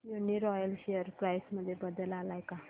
Uniroyal share price मध्ये बदल आलाय का